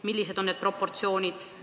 Millised on need proportsioonid?